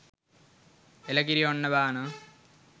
එළ කිරි ඔන්න බානවා